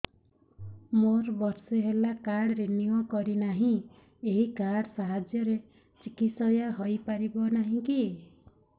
ମୋର ବର୍ଷେ ହେଲା କାର୍ଡ ରିନିଓ କରିନାହିଁ ଏହି କାର୍ଡ ସାହାଯ୍ୟରେ ଚିକିସୟା ହୈ ପାରିବନାହିଁ କି